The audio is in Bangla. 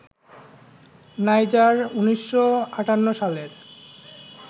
নাইজার ১৯৫৮ সালের